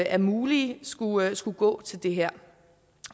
er mulige skulle skulle gå til det her